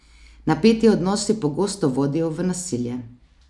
Napeti odnosi pogosto vodijo v nasilje.